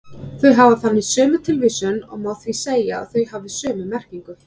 Þau hafa þannig sömu tilvísun og má því segja að þau hafi sömu merkingu.